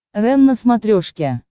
рен на смотрешке